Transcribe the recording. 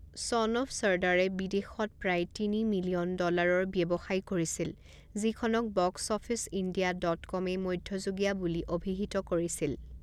ছন of ছৰ্দাৰে বিদেশত প্ৰায় তিনি মিলিয়ন ডলাৰৰ ব্যৱসায় কৰিছিল, যিখনক বক্সঅফিচ ইণ্ডিয়া ডট কমে মধ্যমীয়া বুলি অভিহিত কৰিছিল।